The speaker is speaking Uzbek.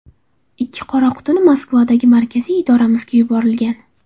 Ikkita ‘qora quti’ Moskvadagi markaziy idoramizga yuborilgan.